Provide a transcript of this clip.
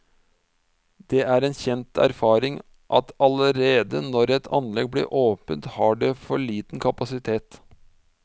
Det er en kjent erfaring at allerede når et anlegg blir åpnet har det for liten kapasitet.